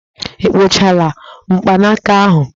Ị kpụchala mgbanaka ahụ?